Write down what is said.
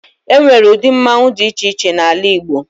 E nwere udi mmọnwụ dị iche iche n'ala Igbo.